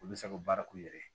Olu bɛ se ka baara k'u yɛrɛ ye